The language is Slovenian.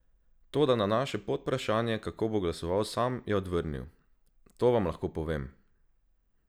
Toda na naše podvprašanje, kako bo glasoval sam, je odvrnil: "To vam pa lahko povem.